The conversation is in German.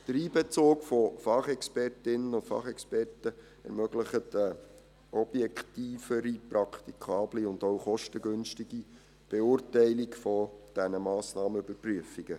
Der Einbezug von Fachexpertinnen und Fachexperten ermöglicht eine objektivere, praktikable und auch kostengünstige Beurteilung dieser Massnahmenüberprüfungen.